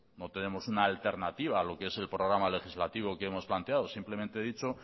no tenemos una alternativa a lo que es el programa legislativo que hemos planteado simplemente he dicho